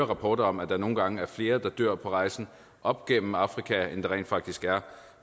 rapporter om at der nogle gange er flere der dør på rejsen op gennem afrika end der rent faktisk gør